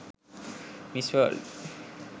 miss world